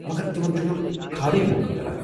مگر تمن چھُنہٕ خالٕیہ موقع میلان۔